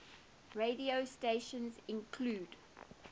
radio stations include